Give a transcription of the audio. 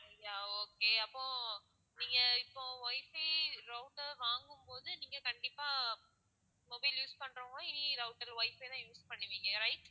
yeah okay அப்போ நீங்க இப்போ WIFI router வாங்கும் போது நீங்க கண்டிப்பா mobile use பண்ணுறவங்களும் இனி router WIFI தான் use பண்ணுவீங்க yeah right